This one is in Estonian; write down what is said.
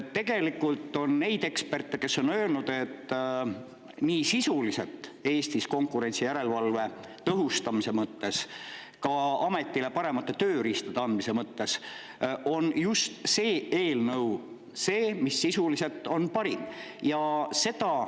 Tegelikult on ka neid eksperte, kes on öelnud, et nii sisuliselt, Eestis konkurentsijärelevalve tõhustamise mõttes, aga ka ametile paremate tööriistade andmise mõttes on just see eelnõu see, mis sisuliselt on parim.